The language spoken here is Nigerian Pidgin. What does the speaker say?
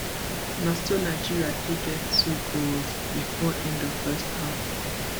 na so nigeria take get two goals bifor end of first half